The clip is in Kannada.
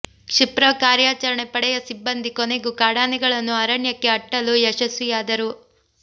ಕ್ಷಿಪ್ರ ಕಾರ್ಯಾಚರಣೆ ಪಡೆಯ ಸಿಬ್ಬಂದಿ ಕೊನೆಗೂ ಕಾಡಾನೆಗಳನ್ನು ಅರಣ್ಯಕ್ಕೆ ಅಟ್ಟಲು ಯಶಸ್ವಿಯಾದರು